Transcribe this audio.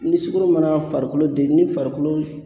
Ni sukoro nana farikolo den ni farikolo